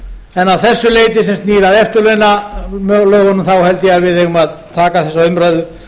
en að þessu leyti sem snýr að eftirlauna held ég að við eigum að taka þessa umræðu